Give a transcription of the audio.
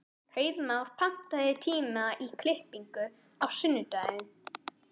Hreiðmar, pantaðu tíma í klippingu á sunnudaginn.